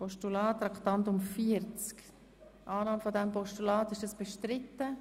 Ist die Annahme des Postulats bestritten?